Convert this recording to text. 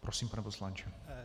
Prosím, pane poslanče.